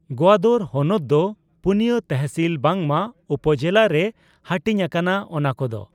ᱜᱣᱟᱫᱚᱨ ᱦᱚᱱᱚᱛ ᱫᱚ ᱯᱩᱱᱤᱭᱟᱹ ᱛᱮᱦᱥᱤᱞ ᱵᱟᱝᱢᱟ ᱩᱯᱡᱮᱞᱟ ᱨᱮ ᱦᱟᱹᱴᱤᱧ ᱟᱠᱟᱱᱟ ᱾ ᱚᱱᱟ ᱠᱚᱫᱚ